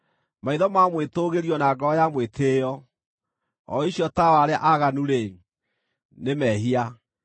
Maitho ma mwĩtũũgĩrio na ngoro ya mwĩtĩĩo, o icio tawa wa arĩa aaganu-rĩ, nĩ mehia!